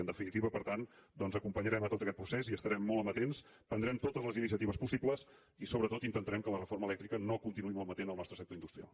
en definitiva per tant doncs acompanyarem tot aquest procés hi estarem molt amatents prendrem totes les iniciatives possibles i sobretot intentarem que la reforma elèctrica no continuï malmetent el nostre sector industrial